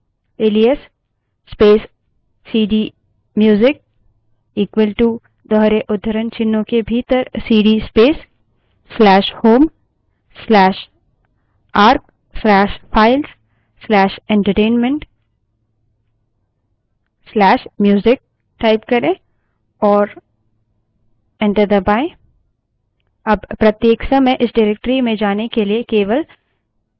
alias space cd music equal to दोहरे उद्धरणचिन्हों के भीतर सीडी space/home/arc/files/एंटरटेनमेंट/music type करें और enter दबायें